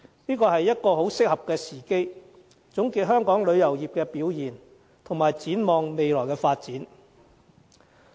這是一個很適合的時機，總結香港旅遊業的表現，以及展望未來發展。